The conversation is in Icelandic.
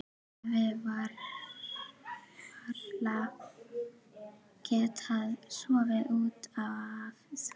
Hafi varla getað sofið út af því.